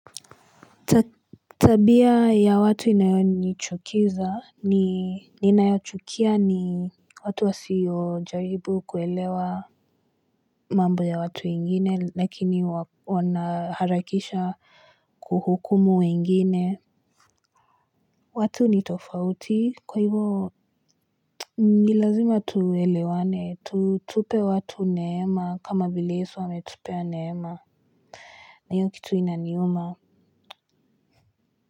Tabia ya watu inayonichukiza ni ninayochukia ni watu wasio jaribu kuelewa mambo ya watu wengine lakini wanaharakisha kuhukumu wengine. Watu ni tofauti kwa hivo. Ni lazima tuelewane tutupe watu neema kama vile yesu ametupea neema. Na hiyo kitu inaniuma.